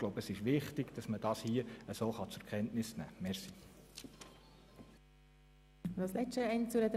Ich glaube, es ist wichtig, dies so zur Kenntnis zu nehmen.